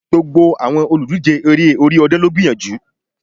Gbogbo àwọn olùdíje Eré orí ọ̀dàn ló gbìyànjú